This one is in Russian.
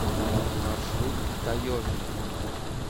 маршрут таежный